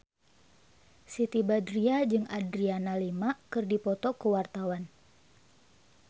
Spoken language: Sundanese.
Siti Badriah jeung Adriana Lima keur dipoto ku wartawan